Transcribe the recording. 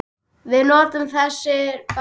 Við nutum þess báðir.